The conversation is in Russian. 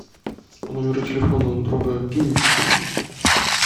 по номеру телефона друга кинь деньги